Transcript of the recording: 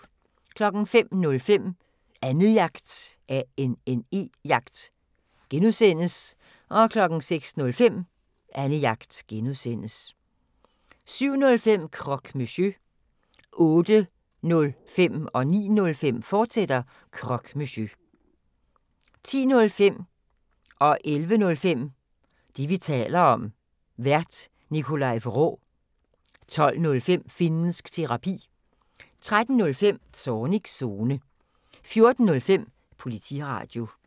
05:05: Annejagt (G) 06:05: Annejagt (G) 07:05: Croque Monsieur 08:05: Croque Monsieur, fortsat 09:05: Croque Monsieur, fortsat 10:05: Det, vi taler om (G) Vært: Nikolaj Vraa 11:05: Det, vi taler om (G) Vært: Nikolaj Vraa 12:05: Finnsk Terapi 13:05: Zornigs Zone 14:05: Politiradio